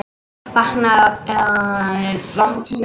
Vaknaði við vatnsleka